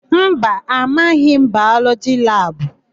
Mba, amaghị m Bayọlọgị labụ.